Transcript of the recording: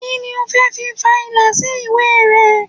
Kí ni o fẹ́ fi fa ìlà sí ìwé rẹ?